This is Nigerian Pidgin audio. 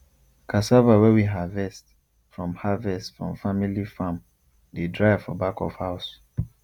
cassava wey we harvest from harvest from family farm dey dry for back of house